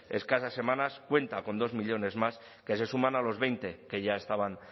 escasas semanas cuenta con dos millónes más que se suman a los veinte que ya estaban